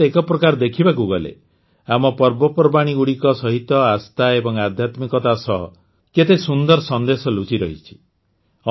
ଅର୍ଥାତ୍ ଏକ ପ୍ରକାର ଦେଖିବାକୁ ଗଲେ ଆମ ପର୍ବପର୍ବାଣୀଗୁଡ଼ିକ ସହିତ ଆସ୍ଥା ଏବଂ ଆଧ୍ୟାତ୍ମିକତା ସହ କେତେ ସୁନ୍ଦର ସନ୍ଦେଶ ଲୁଚିରହିଛି